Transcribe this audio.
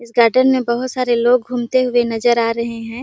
इस गार्डन में बहुत सारे लोग घूमते हुए नजर आ रहे है।